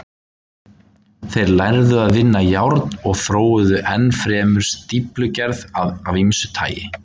Þeir lærðu að vinna járn og þróuðu enn fremur stíflugerð af ýmsu tagi.